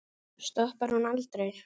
Stoppar hún aldrei?